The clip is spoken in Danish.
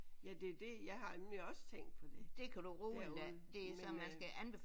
Ja det er det jeg har nemlig også tænkt på det derude men øh